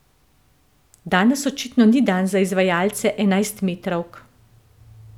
Danes očitno ni dan za izvajalce enajstmetrovk.